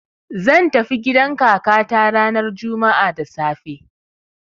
zan tafi gidan kakata ranar juma'a da safe.